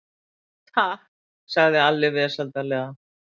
Takk, sagði Alli vesældarlega.